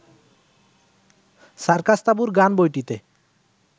সার্কাস-তাঁবুর গান বইটিতে